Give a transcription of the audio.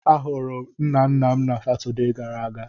A hụrụ m nna nna m na Satọdee gara aga.